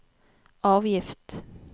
avgift